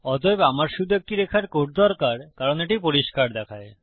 অতএব আমার শুধু একটি রেখার কোড দরকার কারণ এটি পরিষ্কার দেখায়